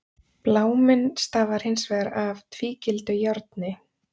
Bláminn stafar hins vegar af tvígildu járni.